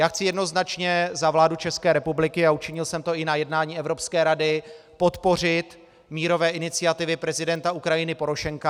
Já chci jednoznačně za vládu České republiky - a učinil jsem to i na jednání Evropské rady - podpořit mírové iniciativy prezidenta Ukrajiny Porošenka.